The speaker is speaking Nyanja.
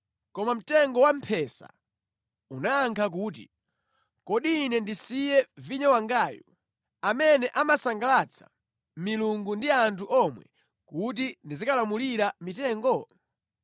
Koma mtengo wamphesa unayankha kuti, “Kodi ine ndisiye vinyo wangayu, amene amasangalatsa milungu ndi anthu omwe kuti ndizikalamulira mitengo?”